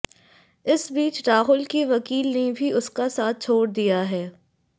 इस बीच राहुल की वकील ने भी उसका साथ छोड़ दिया है